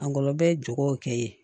Angɔlɔbɛ ye jogow kɛ ye